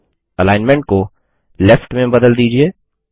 alignment को left left में बदल दीजिये